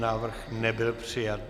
Návrh nebyl přijat.